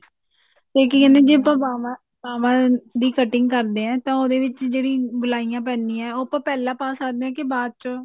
ਤੇ ਕੀ ਕਹਿਨੇ ਆ ਜੇ ਆਪਾਂ ਬਾਵਾਂ ਦੀ cutting ਕਰਦੇ ਹਾਂ ਤਾਂ ਉਹਦੇ ਵਿੱਚ ਜਿਹੜੀ ਗੁਲਾਈਆਂ ਪੈਂਦੀਆਂ ਉਹ ਆਪਾਂ ਪਹਿਲਾਂ ਪਾ ਸਕਦੇ ਹਾਂ ਕਿ ਬਾਅਦ ਚ